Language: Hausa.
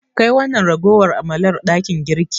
Kai wannan ragowar amalar dakin girki.